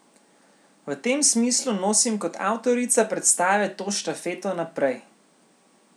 V tem smislu nosim kot avtorica predstave to štafeto naprej.